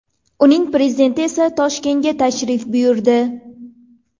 Uning prezidenti esa Toshkentga tashrif buyurdi.